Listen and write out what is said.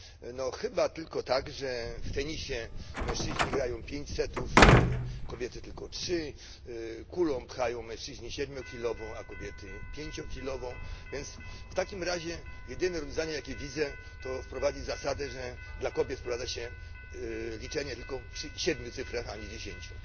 No chyba tylko tak, że w tenisie mężczyźni grają pięć setów, a kobiety tylko trzy, mężczyźni pchają kulą siedmiokilową, a kobiety pięciokilową więc w takim razie jedynym rozwiązaniem jakie widzę, to wprowadzić zasadę, że dla kobiet wprowadza się liczenie tylko przy siedmiu cyfrach, a nie dziesięciu.